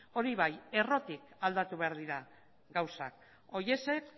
hori bai errotik aldatu behar dira gauzak horiexek